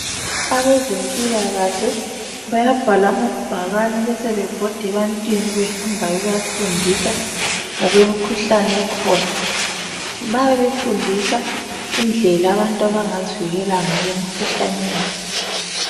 Abezempilakahle bayabhala amabhakani besebebhoda ebantwini behamba bebafundisa ngokwemikhuhlane ekhona. Bayabe befundisa indlela abantu abangazivikela ngayo emikhuhlaneni.